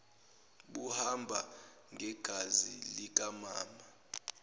buhamba ngegazi likamama